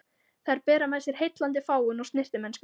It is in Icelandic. Þær bera með sér heillandi fágun og snyrtimennsku.